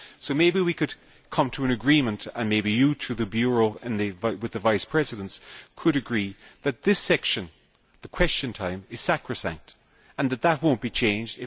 Maybe we could come to an agreement and you, with the Bureau and with the Vice Presidents, could agree that this section, Question Time, is sacrosanct and that that will not be changed.